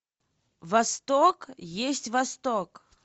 восток есть восток